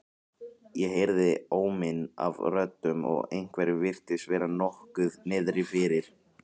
Ég heyrði óminn af röddum og einhverjum virtist vera nokkuð niðri fyrir.